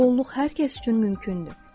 Xoşbəxtlik hər kəs üçün mümkündür.